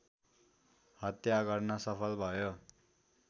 हत्या गर्न सफल भयो